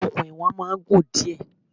Okùn iwọ̀n máa ń gùn díẹ̀.